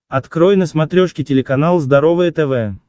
открой на смотрешке телеканал здоровое тв